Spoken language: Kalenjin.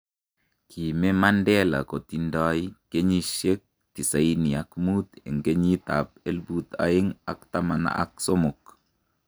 kime Mandela kotindai kenyishek tisini ak muut eng kenyit ab elput aeng ak taman ak somok